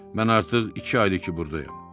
Mən artıq iki aydır ki, burdayam.